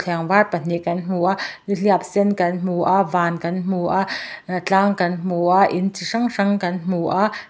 var pahnih kan hmu a ni hliap sen kan hmu a van kan hmu a tlang kan hmu a in chi hrang hrang kan hmu a.